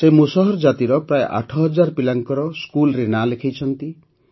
ସେ ମୁସହର ଜାତିର ପ୍ରାୟ ୮ ହଜାର ପିଲାଙ୍କର ସ୍କୁଲ୍ରେ ନାଁ ଲେଖାଇଛନ୍ତି